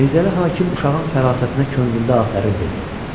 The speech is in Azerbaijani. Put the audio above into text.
Mirzəli hakim uşağın fərasətinə könlündə afərin dedi.